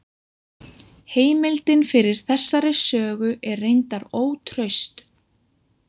Heimildin fyrir þessari sögu er reyndar ótraust.